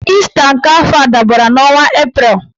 Ịsta nke afọ a dabara n'ọnwa Eprel